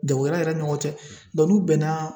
Jagokɛla yɛrɛ ni ɲɔgɔn cɛ n'u bɛn na